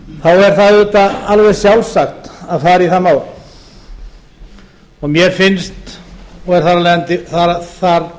er það auðvitað alveg sjálfsagt að fara í það mál mér finnst og er þar af leiðandi